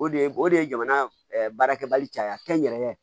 O de ye o de ye jamana baarakɛbaliya caya n yɛrɛ ye